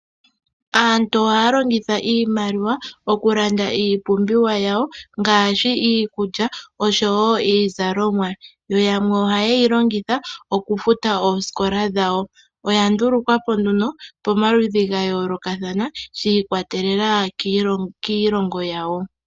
Aantu ohaya longitha iimaliwa oku landa iipumbiwa yawo ngaashi iikulya oshowo iizalomwa, yo yamwe ohaye yi longitha oku futa oosikola dhawo. Oya ndulukwa po nduno pamaludhi ga yoolokathana shi ikwatelela kiilongo yawo.